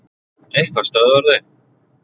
Eitthvað stöðvar þau.